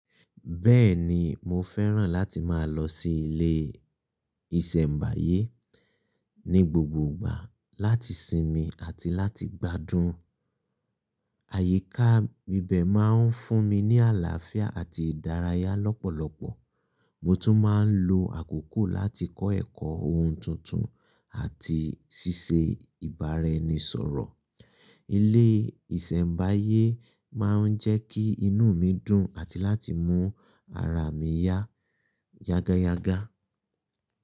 Bẹ́ẹ̀ni, mo fẹ́ràn láti máa lọ sí ilé ìṣẹ̀mbáyé ní gbogbo ìgbà láti sinmi àti láti gbádùn. Àyíká ibẹ̀ máa ń fún mi ní àlàáfíà àti ìdárayá lọ́pọ̀lọpọ̀. Mo tún máa ń lo àkókò láti kọ́ ẹ̀kọ́ ohun tuntun àti ṣíṣe ìbáraẹnisọ̀rọ̀. Ilé ìṣẹ̀mbáyé máa ń jẹ́ kí inú mi dùn àti láti mú ara mi yá yágáyágá.